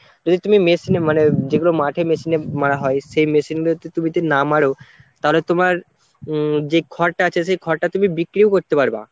যদি তুমি machine এ মানে যেগুলো মাঠে machine এ মারা হয় সেই machine গুলোতে তুমি যদি না মারো তাহলে তোমার উম যে খড়টা আছে সেই খড়টা তুমি বিক্রিও করতে পারবা।